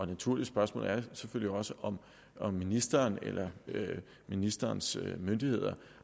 naturligt spørgsmål er selvfølgelig også om om ministeren eller ministerens myndigheder